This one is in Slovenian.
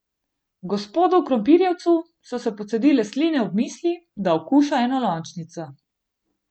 Gospodu Krompirjevcu so se pocedile sline ob misli, da okuša enolončnico.